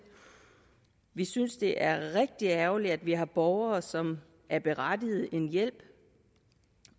vi synes det er rigtig ærgerligt at vi har borgere som er berettiget til en hjælp